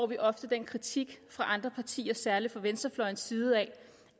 vi ofte den kritik fra andre partier særlig fra venstrefløjens side